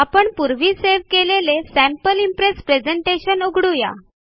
आपण पूर्वी सेव्ह केलेले सॅम्पल इम्प्रेस प्रेझेंटेशन उघडू या